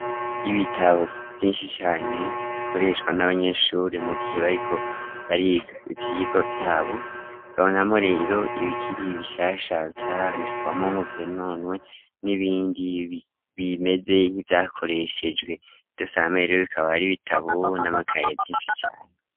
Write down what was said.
Ibitabo vyinshi cane bikoreshwa n'abanyeshuri mu gihe bariko bariga ivyigwa vyabo. Bikabonekamwo rero ibikiri bishasha bitarandikwamo ngo vyononwe, n'ibindi bimeze nk'ivyakoreshejwe. Vyose hamwe rero bikaba ari bitabo n'amakaye vyinshi cane.